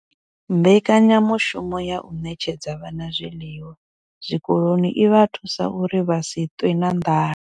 Mbekanyamushumo ya u ṋetshedza vhana zwiḽiwa zwikoloni i vha thusa uri vha si ṱwe na nḓala.